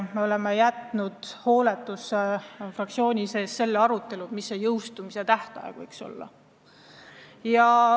Me oleme fraktsioonis jätnud kaalumata, mis võiks olla jõustumise tähtaeg.